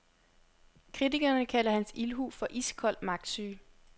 Kritikerne kalder hans ildhu for iskold magtsyge.